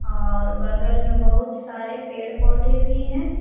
और बगल में बहुत सारे पेड़ पौधे भी हैं।